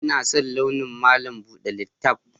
Ina son launin malam buɗe littaf